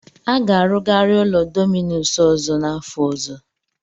A ga-arụgari ụlọ Dominus ọzọ n'afọ ọzọ.